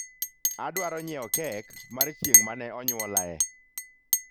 adwaro nyiewo kek mar chieng' mane onyuolaye